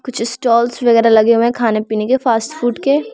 कुछ स्टॉल्स वगैरा लगे हुए हैं खाने-पीने के फास्टफूड के।